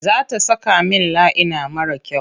Za ta saka min laina mara kyau.